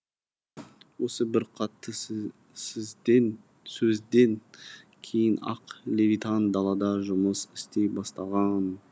осы бір қатты сөзден кейін ақ левитан далада жұмыс істей бастаған